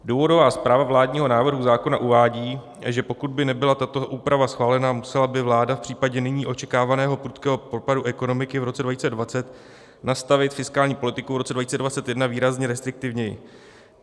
Důvodová zpráva vládního návrhu zákona uvádí, že pokud by nebyla tato úprava schválena, musela by vláda v případě nyní očekávaného prudkého propadu ekonomiky v roce 2020 nastavit fiskální politiku v roce 2021 výrazně restriktivněji.